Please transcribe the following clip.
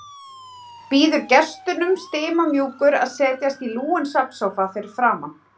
Býður gestunum stimamjúkur að setjast í lúinn svefnsófa fyrir framan.